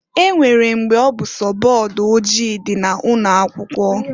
E nwere mgbe ọ bụ sọ board ojii di na ụnọ akwụkwo.